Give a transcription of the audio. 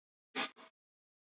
Garður þessi Eden varð.